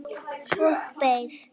Og beið.